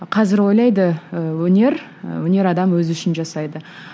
қазір ойлайды ы өнер ы өнер адамы өзі үшін жасайды